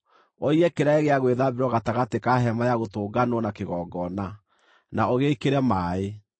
ũige kĩraĩ gĩa gwĩthambĩrwo gatagatĩ ka Hema-ya-Gũtũnganwo na kĩgongona, na ũgĩĩkĩre maaĩ.